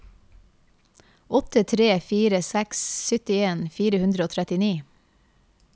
åtte tre fire seks syttien fire hundre og trettini